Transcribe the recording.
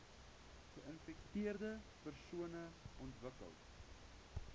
geinfekteerde persone ontwikkel